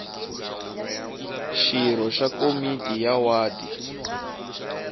xirho xa komiti ya wadi